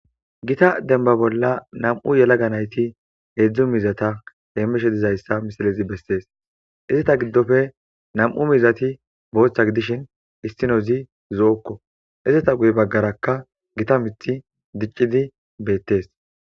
Gita denba bolla nam7u yelaga nayti heedzdzu mizata heemishe dizayssa misilezi bessees izita giddofe nam7u mizati booththa gidishin issinozi zo7okko izita guye baggarakka gita mithi diccidi beettes.